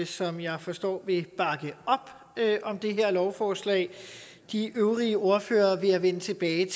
som jeg forstår vil bakke op om det her lovforslag de øvrige ordførere vil jeg vende tilbage